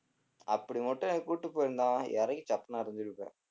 அப்படி மட்டும் என்ன கூட்டிட்டு போயிருந்தான் இறங்கி சப்புன்னு அறைஞ்சிருப்பேன்